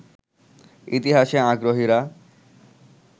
ইতিহাসে আগ্রহীরা